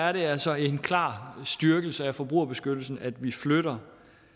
er det altså en klar styrkelse af forbrugerbeskyttelsen at vi flytter